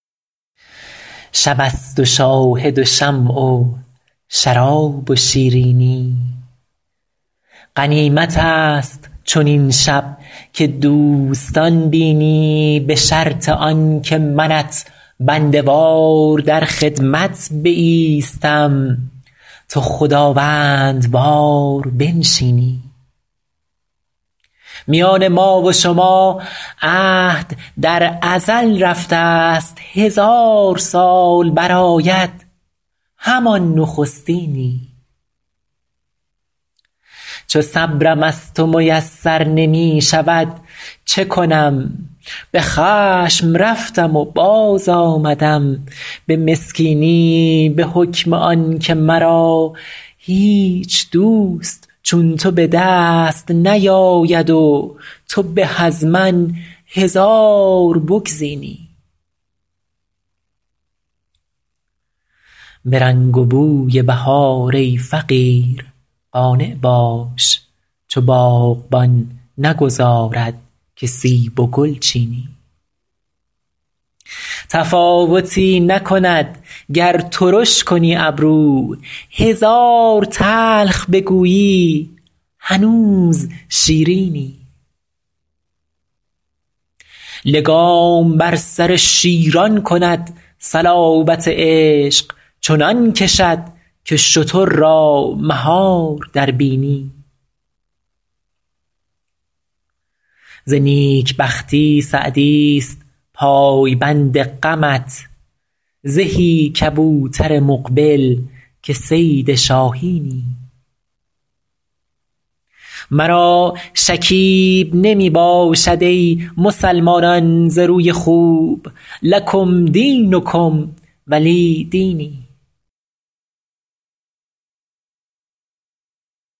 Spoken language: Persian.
شب است و شاهد و شمع و شراب و شیرینی غنیمت است چنین شب که دوستان بینی به شرط آن که منت بنده وار در خدمت بایستم تو خداوندوار بنشینی میان ما و شما عهد در ازل رفته ست هزار سال برآید همان نخستینی چو صبرم از تو میسر نمی شود چه کنم به خشم رفتم و باز آمدم به مسکینی به حکم آن که مرا هیچ دوست چون تو به دست نیاید و تو به از من هزار بگزینی به رنگ و بوی بهار ای فقیر قانع باش چو باغبان نگذارد که سیب و گل چینی تفاوتی نکند گر ترش کنی ابرو هزار تلخ بگویی هنوز شیرینی لگام بر سر شیران کند صلابت عشق چنان کشد که شتر را مهار در بینی ز نیک بختی سعدی ست پایبند غمت زهی کبوتر مقبل که صید شاهینی مرا شکیب نمی باشد ای مسلمانان ز روی خوب لکم دینکم ولی دینی